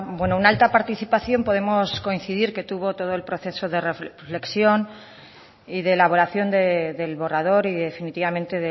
bueno una alta participación podemos coincidir que tuvo todo el proceso de reflexión y de elaboración del borrador y definitivamente